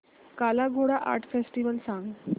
काला Ghoda art festival सांग